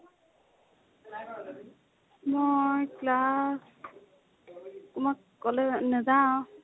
মই class মই college নেযাও।